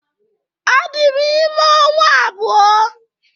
Adị m ime ọnwa abụọ